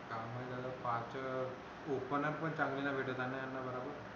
आणि पाच open up पण चांगली नाही भेटत यांना यांना जरा